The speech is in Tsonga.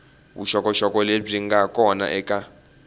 vuxokoxoko lebyi nga kona eka